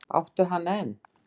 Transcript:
Áttu hana enn?